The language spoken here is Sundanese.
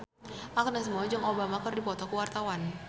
Agnes Mo jeung Obama keur dipoto ku wartawan